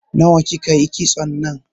Nawa ki ka yi kitson nan?